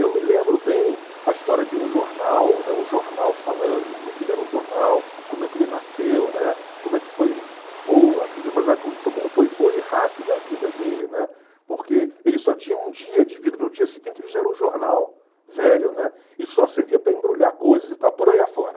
Eu me lembro bem a história de um jornal, né, um jornal falando como é que ele era um jornal, como é que ele nasceu, né, como é que foi boa a vida, mas como foi boa e rápida a vida dele, né, porque ele só tinha um dia de vida, no dia seguinte ele já era um jornal velho, né, e só servia para embrulhar coisas e tal, por aí afora.